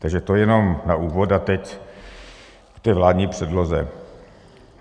Takže to jenom na úvod a teď k té vládní předloze.